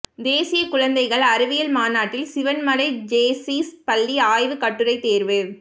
தேசிய குழந்தைகள் அறிவியல் மாநாட்டில் சிவன்மலை ஜேசீஸ் பள்ளி ஆய்வுக் கட்டுரை தோ்வு